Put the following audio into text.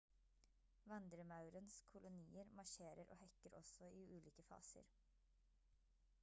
vandremaurens kolonier marsjerer og hekker også i ulike faser